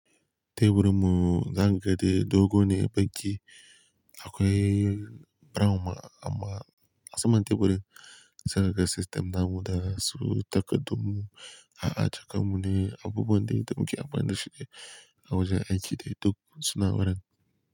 Teburinmu zakaga de dogo ne baƙi akwai brown ma amma asaman teburin. Zakaga system namu da su takardummu a'a caka mun ne abubuwan dai damu ke amfani da shi dai. A wajen aiki dai duk suna wurin.